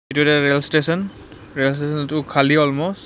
এইটো এটা rail station rail station টো খালী অলম'ষ্ট ।